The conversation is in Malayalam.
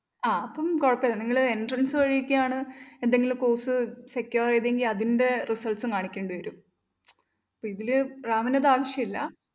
ആ അപ്പം കുഴപ്പമില്ല. നിങ്ങള് entrance വഴിയൊക്കെയാണ് എന്തെങ്കിലും course secure ചെയ്തതെങ്കില്‍ അതിന്റെ results ഉം കാണിക്കേണ്ടി വരും. ഇതില് റാമിന് അതാവശ്യമില്ല.